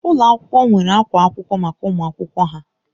Ụlọ akwụkwọ nwere akwa akwụkwọ maka ụmụ akwụkwọ ha